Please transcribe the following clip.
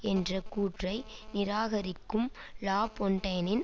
என்ற கூற்றை நிராகரிக்கும் லாபொன்டைனின்